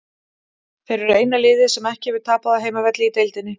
Þeir eru eina liðið sem ekki hefur tapað á heimavelli í deildinni.